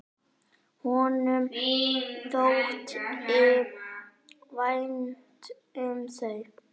Honum þótti vænt um þau.